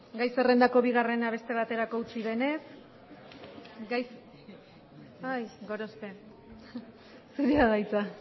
gai zerrendako bigarrena beste baterako utzi denez ai gorospe zurea da hitza